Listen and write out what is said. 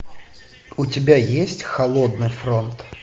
у тебя есть холодный фронт